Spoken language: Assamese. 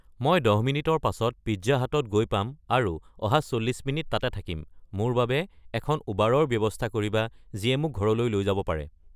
মই দহ মিনিটৰ পাছত পিজ্জা হাটত গৈ পাম আৰু অহা চল্লিশ মিনিট তাতে থাকিম মোৰ বাবে এখন উবাৰৰ ব্যৱস্থা কৰিবা যিয়ে মোক ঘৰলৈ লৈ যাব পাৰে